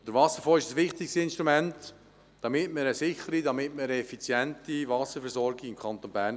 Der Wasserfonds ist ein wichtiges Instrument für eine sichere und effiziente Wasserversorgung im Kanton Bern.